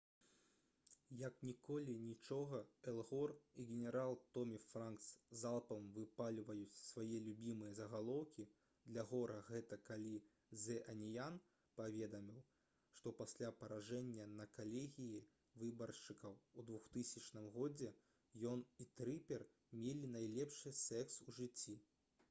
як ніколі нічога эл гор и генерал томі франкс залпам выпальваюць свае любімыя загалоўкі для гора гэта калі «зэ аніян» паведаміў што пасля паражэння на калегіі выбаршчыкаў у 2000 г. ён і трыпер мелі найлепшы секс у жыцці